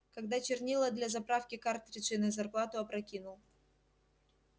когда чернила для заправки картриджей на зарплату опрокинул